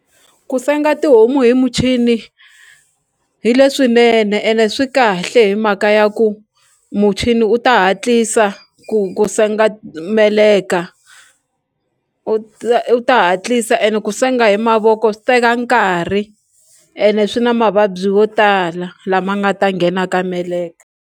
Ku senga tihomu hi muchini hi leswinene ene swi kahle hi mhaka ya ku muchini u ta hatlisa ku ku senga meleka u ta u ta hatlisa ene ku senga hi mavoko swi teka nkarhi ene swi na mavabyi wo tala lama nga ta nghena ka meleka.